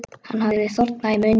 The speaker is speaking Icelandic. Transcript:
Hann hafði þornað í munni.